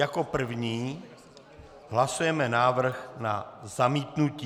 Jako první hlasujeme návrh na zamítnutí.